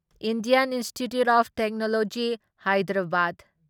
Indian Institute of Technology Hyderabad